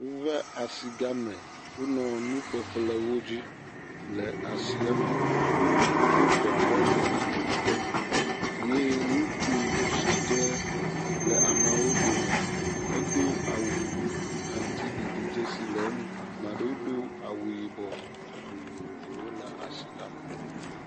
Wova asi gã me wonɔ nuƒeƒle wodzi le asia me. Wosto teƒeyi yi teƒe yi ye ŋutsu sike le ameawo dome edo awu aŋutiɖiɖi dzesi le eŋu eye 'maɖewo do awu yibɔ vovovowo le asi la me.